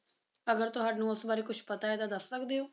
ਅਗਰ ਤੁਹਾਨੂੰ ਉਸ ਬਾਰੇ ਕੁਝ ਪਤਾ ਹੈ ਤਾਂ ਦਸ ਸਕਦੀ ਹੋ